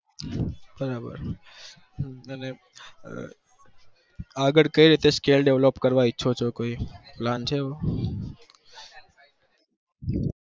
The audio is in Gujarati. બરાબર આગણ કેવી રીતનો skil develop ઈચ્છો ચો plan છે કોઈ એવો